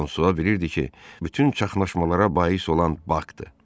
Fransua bilirdi ki, bütün çaşqalaşmalara bais olan Baxdır.